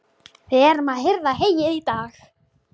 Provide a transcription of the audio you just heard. Við erum að hirða heyið í dag